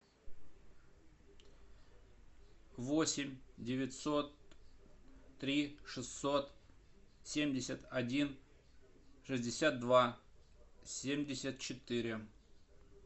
восемь девятьсот три шестьсот семьдесят один шестьдесят два семьдесят четыре